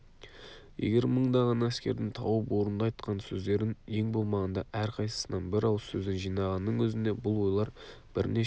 егер мыңдаған әскердің тауып орынды айтқан сөздерін ең болмағанда әрқайсысынан бір ауыз сөзден жинағанның өзінде бұл ойлар бірнеше